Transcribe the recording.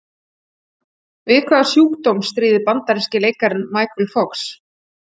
Við hvaða sjúkdóm stríðir bandaríski leikarinn Michael Fox?